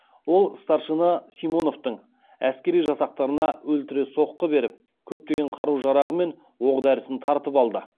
ол старшина симоновтың әскери жасақтарына өлтіре соққы беріп көптеген қару жарағы мен оқ дәрісін тартып алды